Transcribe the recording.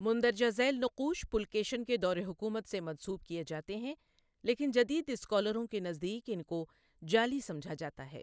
مندرجہ ذیل نقوش پُلکیشن کے دورِ حکومت سے منسوب کیے جاتے ہیں، لیکن جدید اسکالروں کے نزدیک ان کو جعلی سمجھا جاتا ہے۔